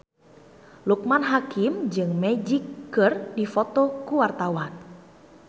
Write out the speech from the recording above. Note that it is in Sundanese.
Loekman Hakim jeung Magic keur dipoto ku wartawan